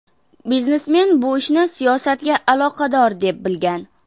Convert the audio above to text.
Biznesmen bu ishni siyosatga aloqador deb bilgan.